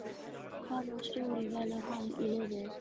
Hvaða stjóri velur hann í liðið?